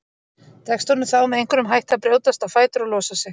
Tekst honum þá með einhverjum hætti að brjótast á fætur og losa sig.